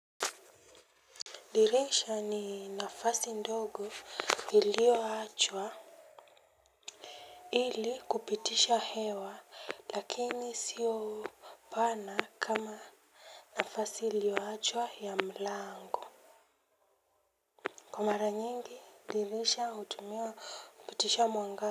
Dirisha ni nafasi ndogo iliyoachwa ili kupitisha hewa lakini sio pana kama nafasi iliyo achwa ya mlango. Kwa mara nyingi dirisha hutumiwa kupitisha mwangaza.